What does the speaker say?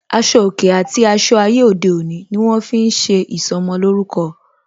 Aṣọ òkè àti aṣọ ayé òde òní ni wọn fi ń ṣe ìsọmolórúkọ